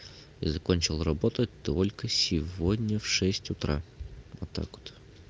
я закончил работать только сегодня в шесть утра вот так вот